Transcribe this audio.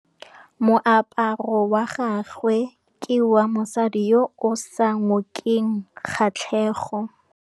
Moaparô wa gagwe ke wa mosadi yo o sa ngôkeng kgatlhegô.